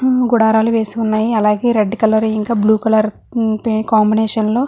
గుడారాలు వేసివున్నాయి. అలాగే రెడ్ కలర్ ఇంకా బ్లూ కలర్ కాంబినేషన్‌ లో --